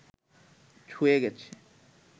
ছুঁয়ে গেছে